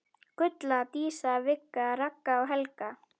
Gulla, Dísa, Vigga, Ragga og Helga.